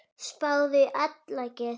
Spáðu í álagið.